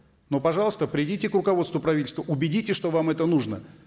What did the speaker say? ну пожалуйста придите к руководству правительства убедитесь что вам это нужно